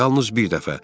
Yalnız bir dəfə.